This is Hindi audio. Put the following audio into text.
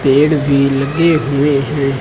पेड़ भी लगे हुए हैं।